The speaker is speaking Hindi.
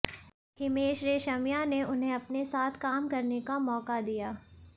हिमेश रेशमिया ने उन्हें अपने साथ काम करने का मौका दिया